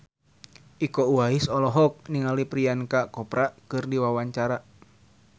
Iko Uwais olohok ningali Priyanka Chopra keur diwawancara